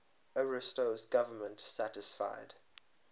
ariosto's government satisfied